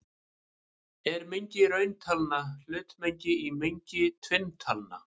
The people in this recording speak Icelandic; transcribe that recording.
Er mengi rauntalna hlutmengi í mengi tvinntalna?